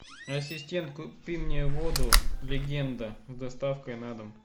ассистент купи мне воду легенда с доставкой на дом